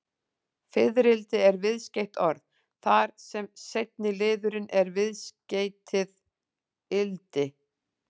Fiðrildi er viðskeytt orð, þar sem seinni liðurinn er viðskeytið-ildi.